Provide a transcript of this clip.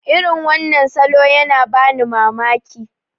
irin wannan salo yana bani mamaki